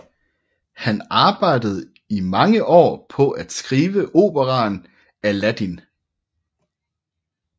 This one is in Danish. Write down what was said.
Han arbejdede i mange år på at skrive operaen Aladdin